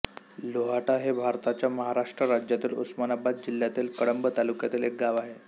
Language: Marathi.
लोहाटा हे भारताच्या महाराष्ट्र राज्यातील उस्मानाबाद जिल्ह्यातील कळंब तालुक्यातील एक गाव आहे